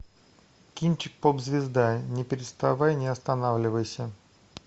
кинчик поп звезда не переставай не останавливайся